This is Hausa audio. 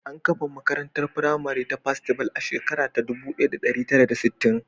An kafa makarantar firamare ta Festival a shekara ta 1960.